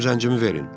Mənim zəncimi verin.